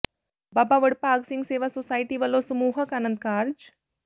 ਬਾਬਾ ਵਡਭਾਗ ਸਿੰਘ ਸੇਵਾ ਸੁਸਾਇਟੀ ਵੱਲੋਂ ਸਮੂਹਿਕ ਆਨੰਦ ਕਾਰਜ